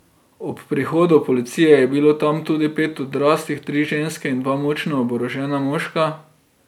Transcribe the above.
Ob prihodu policije je bilo tam tudi pet odraslih, tri ženske in dva močno oborožena moška.